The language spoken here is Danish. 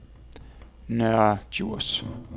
Nørre Djurs